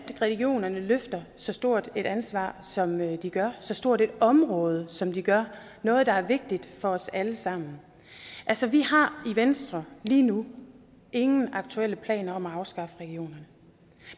regionerne løfter så stort et ansvar som de gør så stort et område som de gør noget der er vigtigt for os alle sammen altså vi har i venstre lige nu ingen aktuelle planer om at afskaffe regionerne